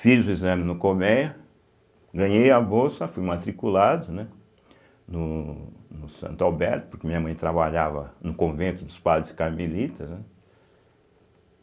Fiz o exame no Colmeia, ganhei a bolsa, fui matriculado né no no Santo Alberto, porque minha mãe trabalhava no convento dos padres Carmelitas, né.